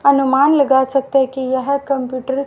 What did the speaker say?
अनुमान लगा सकते हैं की यह कंप्यूटर --